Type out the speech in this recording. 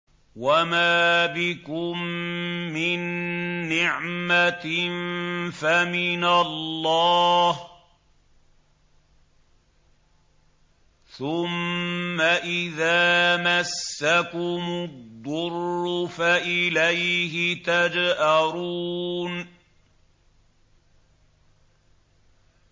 وَمَا بِكُم مِّن نِّعْمَةٍ فَمِنَ اللَّهِ ۖ ثُمَّ إِذَا مَسَّكُمُ الضُّرُّ فَإِلَيْهِ تَجْأَرُونَ